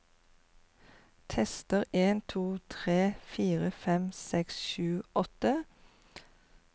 Tester en to tre fire fem seks sju åtte